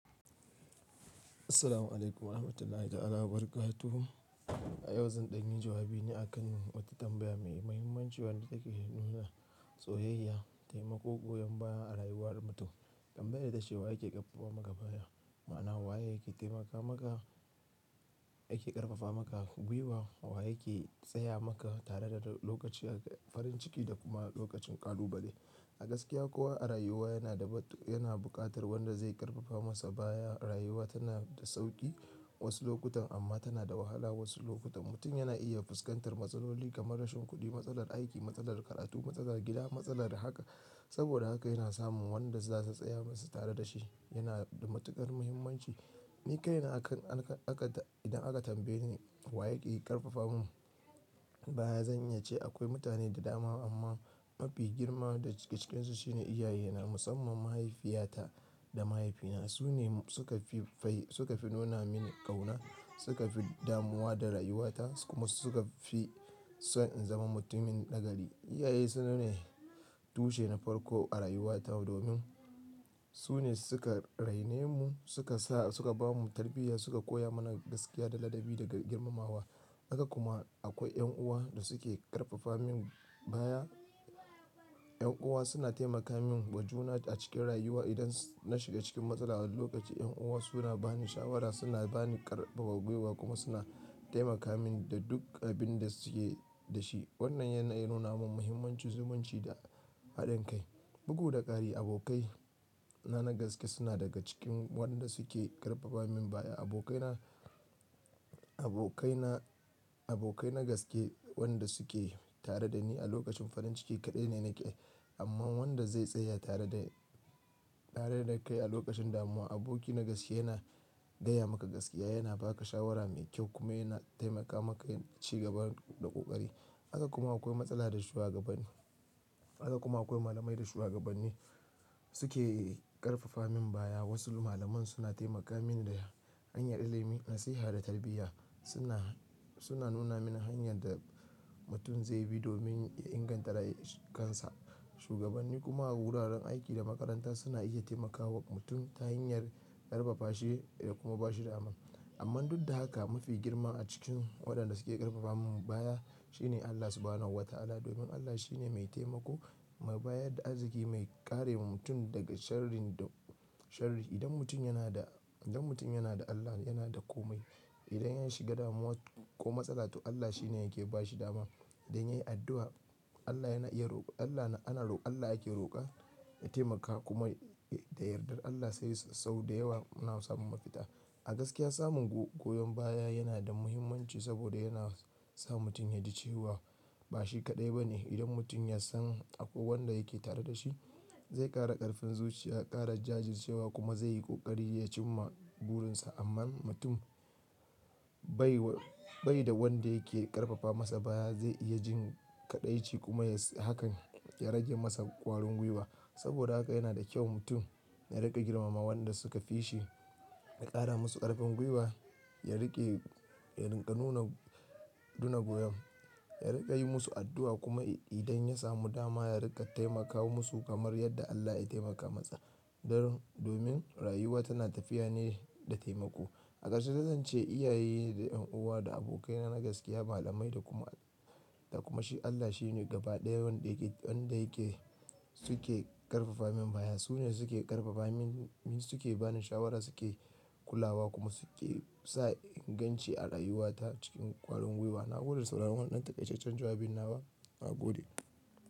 Assalamu alaikum wa rahmatullahi ta'ala wa barakatu. A yau zan ɗanyi jawabi ne akan wata tambaya mai muhimmanci wadda take nuna soyayya, taimako goyon baya a rayuwar mutum. Tambayar ita ce waye ke ƙarfafa maka baya? Ma'ana waye yake taimaka maka, yake ƙarfafa maka gwiwa, wa yake tsaya maka tare da lokaci farin ciki da kuma lokacin ƙalubale. A gaskiya kowa a rayuwa yana buƙatar wanda zai ƙarfafa masa baya. Rayuwa tana da sauƙi wasu lokutan amma tana da wahala wasu lokutan. Mutum yana iya fuskantar matsaloli kamar rashin kuɗi, matsalar aiki, matsalar karatu, matsalar gida, matsalar haka. Saboda haka yana samun wanda za su tsaya masa tare da shi. Yana da matuƙar muhimmanci. Ni kai na idan aka tambaye ni wa yake ƙarfafa mun baya, zan iya ce akwai mutane da dama amma mafi girma da ke cikinsu shine iyaye. Musamman mahaifiyata da mahaifina. Su ne suka fi nuna mini ƙauna, suka fi damuwa da rayuwata kuma suka fi so in zama mutumin nagari. Iyaye sune tushe na farko a rayuwata domin su ne suka raine mu, suka sa, suka ba mu tarbiyya, suka koya mana gaskiya da ladabi daga girmamawa. Haka kuma akwai ƴan uwa da suke ƙarfafa min baya. Yan uwa suna taimaka min wajuna a cikin rayuwa. Idan na shiga cikin matsala a wani lokaci, yan uwa suna bani shawara, suna bani ƙarfafa gwiwa kuma suna taimaka min da duk abin da suke da shi. Wannan yanayi ya nuna min muhimmanci, zumunci da haɗin kai. Bugu da ƙari abokai na nagaske suna daga cikin waɗanda suke ƙarfafa min baya. Abokai na, abokai na, abokai nagaske waɗanda suke tare da ni a lokacin farin ciki kaɗai ne nake. Amma wanda zai tsaya tare da kai a lokacin damuwa. Aboki nagaske yana gaya maka gaskiya, yana ba ka shawara mai kyau kuma yana taimaka maka ci gaba da ƙoƙari. Haka kuma akwai matsala da shuwagabanni. Haka kuma akwai malamai da shugabanni suke ƙarfafa min baya. Wasu malaman suna taimaka min da hanyar ilimi, nasiha da tarbiyya. Suna, suna nuna mini hanyar da mutum zai bi domin ya inganta kansa. Shuwagabanni kuma wuraren aiki da makaranta suna iya taimakawa mutum ta hanyar ƙarfafa shi ya kuma ba shi dama. Amman duk da haka mafi girma a cikin waɗanda suke ƙarfafa min baya shine Allah Subhanahu wa Ta'ala. Domin Allah shine mai taimako, mai bayar da arziki, mai karewa mutum daga sharrin da sharri. Idan mutum yana da, idan mutum yana da Allah yana da komai. Idan ya shiga damuwa ko matsala to Allah shine yake ba shi dama. Idan ya yi addu'a Allah yana, Allah ake roƙa, ya taimaka kuma da yardar Allah sai sau da yawa ana samun mafita. A gaskiya samun goyon baya yana da muhimmanci saboda yana sa mutum ya ji cewa ba shi kaɗai ba ne. Idan mutum ya san akwai wanda yake tare da shi zai ƙara ƙarfin zuciya, ƙara jajircewa kuma zai yi ƙoƙari ya cimma burinsa. Amma mutum bai da wanda yake ƙarfafa masa baya zai iya jin kaɗaici kuma hakan ya rage masa ƙwarin gwiwa. Saboda haka yana da kyau mutum ya riƙa girmama waɗanda suka fi shi, ya ƙara musu ƙarfin gwiwa, ya riƙe, ya rika nuna goyon, ya riƙa yi musu addu'a kuma idan ya samu dama ya riƙa taimaka musu kamar yadda Allah ya taimaka masa. Domin rayuwa tana tafiya ne da taimako. A gaske zan ce iyaye da yan uwa da abokai na nagaske, malamai da kuma Shi Allah shine gaba ɗaya wanda yake, suke ƙarfafa min baya. Su ne suke ƙarfafa min, suke bani shawara suke ƙula wa kuma suke sa in ganci a rayuwata cikin ƙwarin gwiwa. Na gode da sauraron wannan ɗan takaicecan. Jawabin na ba, na gode.